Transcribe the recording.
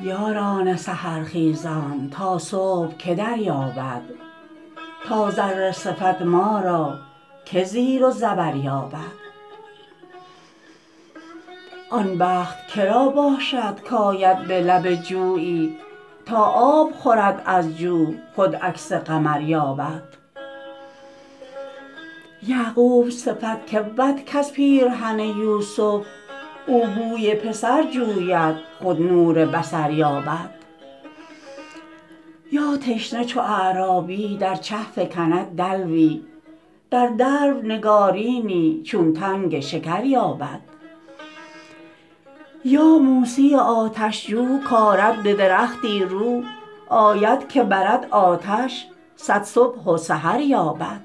یاران سحر خیزان تا صبح که دریابد تا ذره صفت ما را که زیر و زبر یابد آن بخت که را باشد کآید به لب جویی تا آب خورد از جو خود عکس قمر یابد یعقوب صفت که بود کز پیرهن یوسف او بوی پسر جوید خود نور بصر یابد یا تشنه چو اعرابی در چه فکند دلوی در دلو نگارینی چون تنگ شکر یابد یا موسی آتش جو کآرد به درختی رو آید که برد آتش صد صبح و سحر یابد